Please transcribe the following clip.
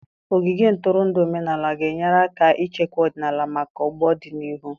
Ogige ntụrụndụ omenala ga-enyere aka ichekwa ọdịnala maka ọgbọ n'ọdịnihu.